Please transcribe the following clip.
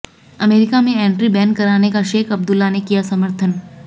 अमरीका में entry ban करने का शेख अब्दुल्ला ने किया सर्मथन